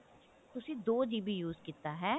ਤੁਸੀਂ ਦੋ GB use ਕੀਤਾ ਹੈ